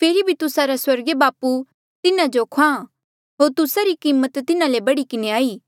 फेरी भी तुस्सा रा स्वर्गीय बापू तिन्हा जो ख्वाहाँ होर तुस्सा री कीमत तिन्हा ले बढ़ी किन्हें हाई